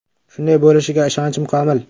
Shunday bo‘lishiga ishonchim komil.